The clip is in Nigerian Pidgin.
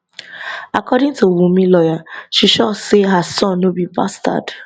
according to wunmi lawyer she sure say her son no be bastard